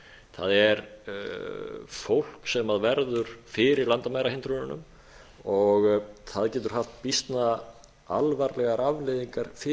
það er fólk sem verður fyrir landamærahindrununum og það getur haft býsna alvarlegar afleiðingar fyrir